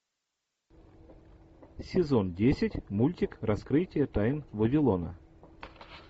сезон десять мультик раскрытие тайн вавилона